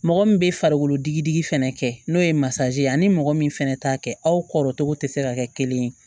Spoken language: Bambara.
Mɔgɔ min bɛ farikolo digi digi fɛnɛ kɛ n'o ye masa ye ani mɔgɔ min fɛnɛ t'a kɛ aw kɔrɔ cogo tɛ se ka kɛ kelen ye